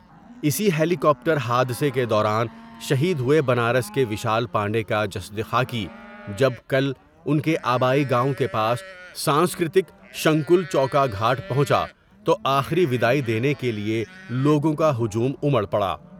اِسی helicopter حادثے کے دوران شہید ہوئے بنارس کے ویشال پانڈے کا جسد خا کی جب کل ان کے آبائی گاؤں کے پاس سانسکر تک شنگل چوکا گھاٹ پہونچا تو آ خری دیدائی دینے کے لئے لوگوں کا ہجوم امر پڑا ۔